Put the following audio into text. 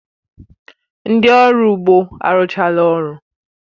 Ndị ọrụ ugbo arụchala ọrụ